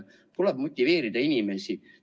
Tuleb inimesi motiveerida.